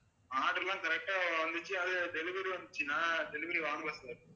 order எல்லாம் correct ஆ வந்துச்சு அது delivery வந்துச்சுன்னா delivery வாங்கலை sir